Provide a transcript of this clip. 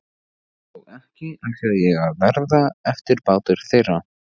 Og ekki ætlaði ég að verða eftirbátur þeirra.